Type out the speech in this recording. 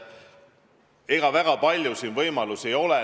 Ega siin väga palju võimalusi ei ole.